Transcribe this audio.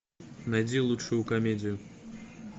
найди лучшую комедию